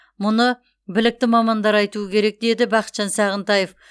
мұны білікті мамандар айтуы керек деді бақытжан сағынтаев